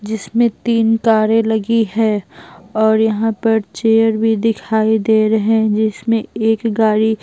जिसमें तीन कारें लगी है और यहां पर चेयर भी दिखाई दे रहे जिसमें एक गाड़ी--